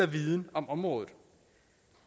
viden om området